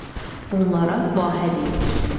Bunlara vahə deyilir.